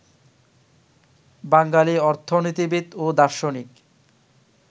বাঙালী অর্থনীতিবিদ ও দার্শনিক